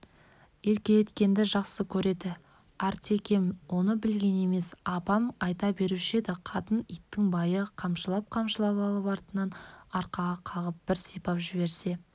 еркелеткенді жақсы көреді артекем оны білген емес апам айта беруші еді қатын итті байы қамшылап-қамшылап алып артынан арқаға қағып бір сипап жіберсе